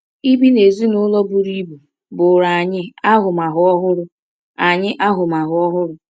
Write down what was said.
Ibi n’ezinụlọ buru ibu bụụrụ anyị ahụmahụ ọhụrụ. anyị ahụmahụ ọhụrụ.